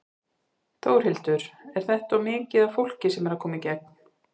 Þórhildur: Er þetta of mikið af fólki sem er að koma í gegn?